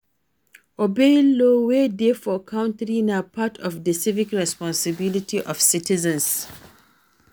Obeying law wey dey for country na part of di civic responsibility of citizens